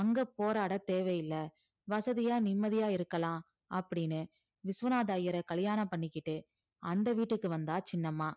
அங்கே போராடத் தேவையில்லை வசதியா நிம்மதியா இருக்கலாம் அப்படின்னு விஸ்வநாத ஐயரை கல்யாணம் பண்ணிக்கிட்டு அந்த வீட்டுக்கு வந்தா சின்னம்மா